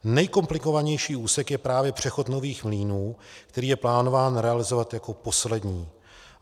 Nejkomplikovanější úsek je právě přechod Nových Mlýnů, který je plánován realizovat jako poslední.